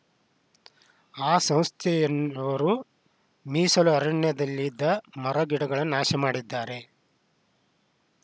ಆ ಸಂಸ್ಥೆಯವರು ಮೀಸಲು ಅರಣ್ಯದಲ್ಲಿದ್ದ ಮರಗಿಡಗಳನ್ನು ನಾಶ ಮಾಡಿದ್ದಾರೆ